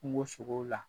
Kungo sogo la